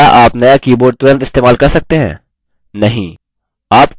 क्या आप no keyboard तुरंत इस्तेमाल कर सकते हैं नहीं